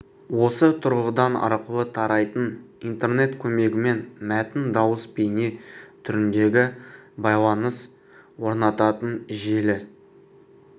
осы тұрғыдан арқылы тарайтын интернет көмегімен мәтін дауыс бейне түріндегі байланыс орнататын желі